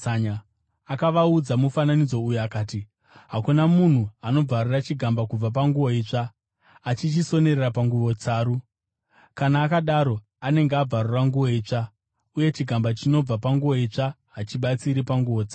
Akavaudza mufananidzo uyu akati, “Hakuna munhu anobvarura chigamba kubva panguo itsva achichisonera panguo tsaru. Kana akadaro, anenge abvarura nguo itsva, uye chigamba chinobva panguo itsva hachibatsiri panguo tsaru.